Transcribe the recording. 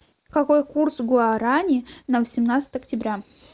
какой курс гуарани на восемнадцатое октября